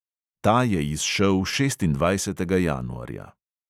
Ta je izšel šestindvajsetega januarja.